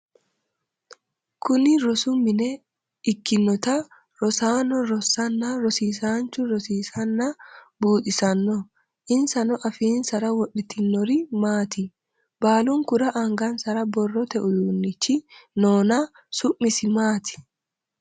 Kunni rosu mine ikinota rosaano rasananna rosiisaanchu rosiisanna buuxisano insano afiinsara wodhitinori maati? Baalunkura angansara borote uduunichi noonna su'misi maati?